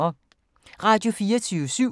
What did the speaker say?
Radio24syv